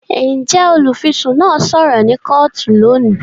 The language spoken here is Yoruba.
Njẹ olufisun náà sọrọ ni kootu lóni?